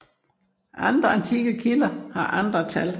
Andre antikke kilder har andre tal